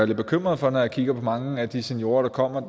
lidt bekymret for når jeg kigger på mange af de seniorer der kommer